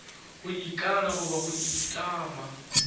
go ikana goba go itlama